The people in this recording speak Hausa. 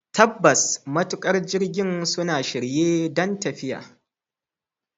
Tabbas, matuƙan jirgin suna shirye don tafiya.